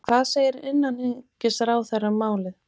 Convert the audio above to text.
En hvað segir innanríkisráðherra um málið?